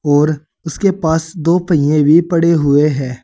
और उसके पास दो पहिए भी पड़े हुए है।